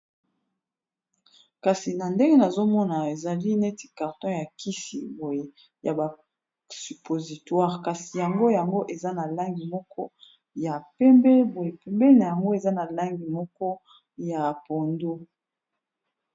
kasi na ndenge nazomona ezali neti karton ya kisi boye ya basupositwire kasi yango yango eza na langi moko ya pembe boye pembe na yango eza na langi moko ya pondo